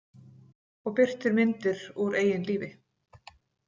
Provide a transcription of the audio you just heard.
Og birtir myndir úr eigin lífi.